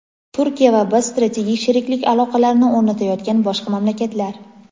Turkiya va biz strategik sheriklik aloqalarini o‘rnatayotgan boshqa mamlakatlar.